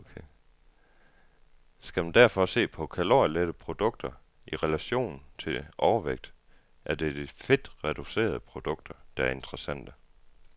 Skal man derfor se på kalorielette produkter i relation til overvægt, er det de fedtreducerede produkter, der er interessante.